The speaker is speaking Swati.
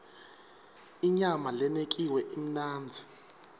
inyama lenekiwe imnandzi